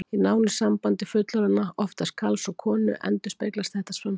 Í nánu sambandi fullorðinna, oftast karls og konu, endurspeglast þetta samspil.